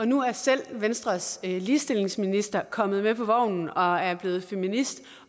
nu er selv venstres ligestillingsminister kommet med på vognen og er blevet feminist